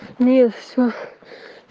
не все